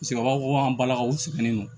Paseke u b'a fɔ ko an balakaw sɛgɛnnen don